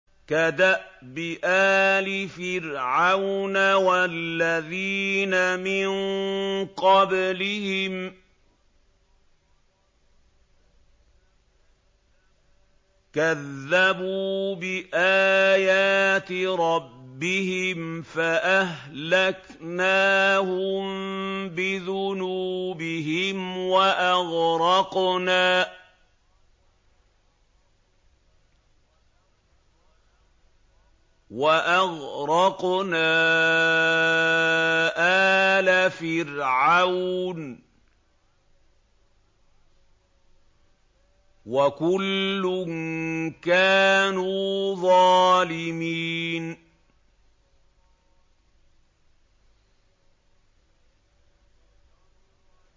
كَدَأْبِ آلِ فِرْعَوْنَ ۙ وَالَّذِينَ مِن قَبْلِهِمْ ۚ كَذَّبُوا بِآيَاتِ رَبِّهِمْ فَأَهْلَكْنَاهُم بِذُنُوبِهِمْ وَأَغْرَقْنَا آلَ فِرْعَوْنَ ۚ وَكُلٌّ كَانُوا ظَالِمِينَ